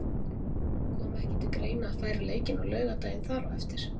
Kom ekki til greina að færa leikinn á laugardaginn þar á eftir?